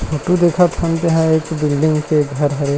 Photo देखत हन तेहा एक बिल्डिंग के घर हरे।